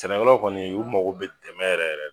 Sɛnɛkɛlaw kɔni u mago be dɛmɛ yɛrɛ yɛrɛ de la